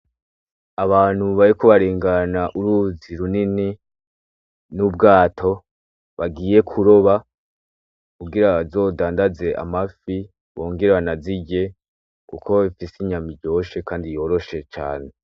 Abantu bariko uruzi runini n'ubwato bagiye kuroba kugira bazodandaze amafi bongere banazirye kuko ifise inyama nziza kandi iryoshe cane.